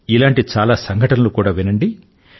ఇలాంటి చాలా సంఘటనలు కూడా వినండి